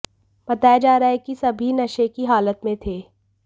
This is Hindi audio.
बताया जा रहा है कि सभी नशे की हालत में थे